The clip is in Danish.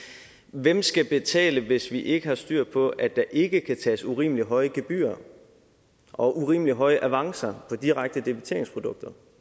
hvem skal betale hvis vi ikke har styr på at der ikke kan tages urimelig høje gebyrer og urimelig høje avancer på direkte debiteringsprodukter